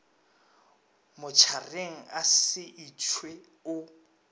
motšhareng a se išwe o